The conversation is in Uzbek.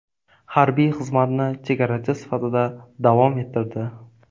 Harbiy xizmatni chegarachi sifatida davom ettirdi.